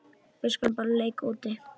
Við skulum bara leika úti.